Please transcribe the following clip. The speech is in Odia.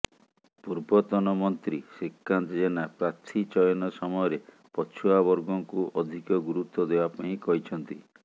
ପୂର୍ବତନ ମନ୍ତ୍ରୀ ଶ୍ରୀକାନ୍ତ ଜେନା ପ୍ରାର୍ଥୀ ଚୟନ ସମୟରେ ପଛୁଆ ବର୍ଗଙ୍କୁ ଅଧିକ ଗୁରୁତ୍ୱ ଦେବା ପାଇଁ କହିଛନ୍ତି